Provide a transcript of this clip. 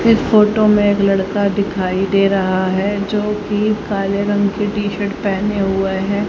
इस फोटो में एक लड़का दिखाई दे रहा है जोकि काले रंग की टी शर्ट पहने हुए हैं।